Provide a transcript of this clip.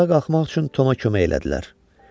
Ayağa qalxmaq üçün Toma kömək elədilər.